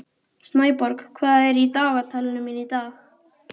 Snæborg, hvað er í dagatalinu mínu í dag?